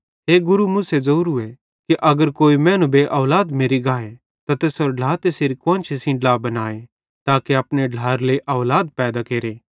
हे गुरू मूसे ज़ोरूए कि अगर कोई मैनू बेऔलाद मेरि गाए त तैसेरो ढ्ला तैसेरी कुआन्शी सेइं ड्ला बनाए ताके अपने ढ्लाएरे लेइ औलाद पैदा केरे